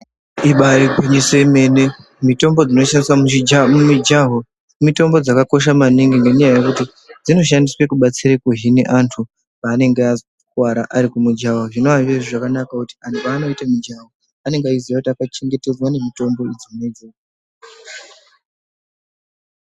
Ibaari gwinyiso remene mitombo dzinoshandiswe mumujaho mitombo dzakakosha maningi ngenyaya yekuti dzinoshandiswe kubatsira kuhine antu paanonga azokuwara ari kumujaho zvona zviri zviro zvakanaka ngekuti anhu paanoite mujaho anonga eiziye kuti akachengetedzwa ngemitombo idzona idzodzo.